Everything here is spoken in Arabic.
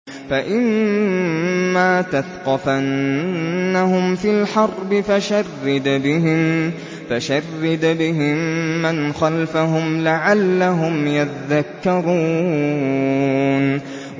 فَإِمَّا تَثْقَفَنَّهُمْ فِي الْحَرْبِ فَشَرِّدْ بِهِم مَّنْ خَلْفَهُمْ لَعَلَّهُمْ يَذَّكَّرُونَ